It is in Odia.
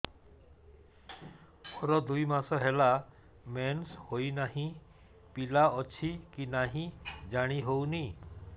ମୋର ଦୁଇ ମାସ ହେଲା ମେନ୍ସେସ ହୋଇ ନାହିଁ ପିଲା ଅଛି କି ନାହିଁ ଜାଣି ହେଉନି